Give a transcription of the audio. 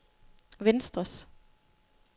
venstres